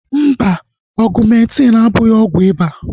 Mba, Ọgumentin abụghị ọgwụ iba